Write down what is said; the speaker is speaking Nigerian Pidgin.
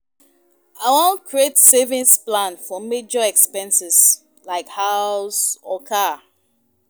I wan create savings plan for major expenses, like house or car.